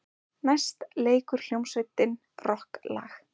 Næst leikur hljómsveitin rokklag.